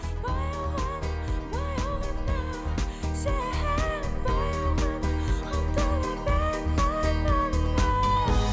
баяу ғана баяу ғана сен баяу ғана ұмтыла бер арманыңа